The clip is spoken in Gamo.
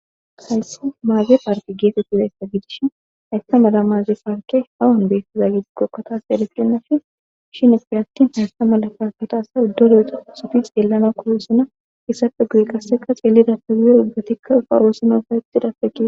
Hayssi maze parkke gettetizayssa,iza giddon dumma dumma medossati dizayssa besees